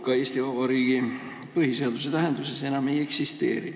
Panka Eesti Vabariigi põhiseaduse tähenduses enam ei eksisteeri.